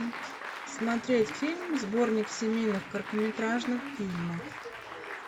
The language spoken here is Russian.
смотреть фильм сборник семейных короткометражных фильмов